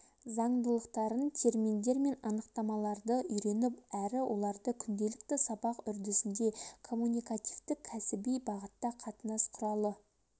заңдылықтарын терминдер мен анықтамаларды үйреніп әрі оларды күнделікті сабақ үрдісінде коммуникативтік кәсіби бағытта қатынас құралы